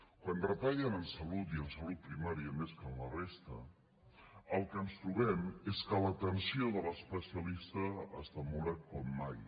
quan retallen en salut i en salut primària més que en la resta el que ens trobem és que l’atenció de l’especialista es demora com mai